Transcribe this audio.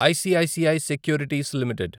ICICI securities limited